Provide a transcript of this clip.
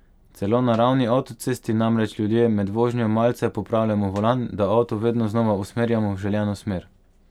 Celo na ravni avtocesti namreč ljudje med vožnjo malce popravljamo volan, da avto vedno znova usmerjamo v želeno smer.